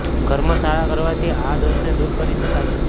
કર્મ સારા કરવાથી આ દોષને દૂર કરી શકાય છે